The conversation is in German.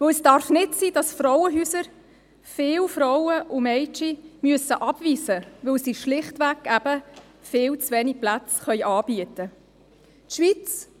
Denn es darf nicht sein, dass Frauenhäuser viele Frauen und Mädchen abweisen müssen, weil sie schlichtweg viel zu wenige Plätze anbieten können.